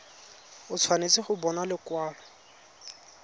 o tshwanetse go bona lekwalo